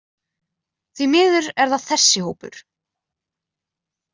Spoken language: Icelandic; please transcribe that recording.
Því miður er það þessi hópur.